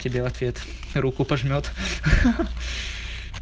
тебе ответ руку пожмёт ха-ха